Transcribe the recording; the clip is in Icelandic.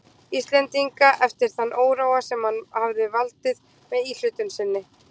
Íslendinga eftir þann óróa, sem hann hefði valdið með íhlutun sinni.